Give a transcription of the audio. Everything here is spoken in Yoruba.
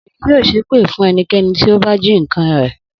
Obìnrin yóò ṣépè fún ẹnikẹ́ni tí ó bá jí nǹkan rẹ̀.